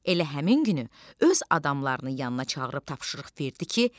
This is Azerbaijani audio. Elə həmin günü öz adamlarını yanına çağırıb tapşırıq verdi ki,